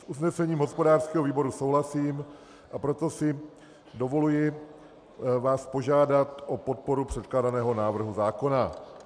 S usnesením hospodářského výboru souhlasím, a proto si dovoluji vás požádat o podporu předkládaného návrhu zákona.